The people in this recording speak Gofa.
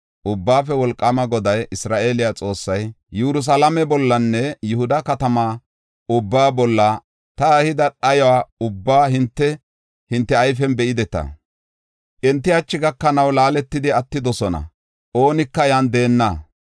“Ubbaafe Wolqaama Goday, Isra7eele Xoossay, Yerusalaame bollanne Yihuda katamaa ubbaa bolla ta ehida dhayo ubbaa hinte, hinte ayfen be7ideta. Enti hachi gakanaw laaletidi attidosona; oonika yan deenna.